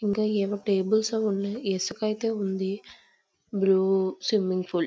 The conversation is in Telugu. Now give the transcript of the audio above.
ఇంకా ఏవో టేబుల్స్ ఉన్నాయి. ఇసుక అయితే ఉంది. Blue swimming pool--